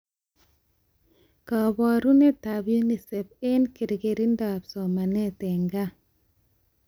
Kabarunetab UNICEF eng kerkeindoab somanet eng gaa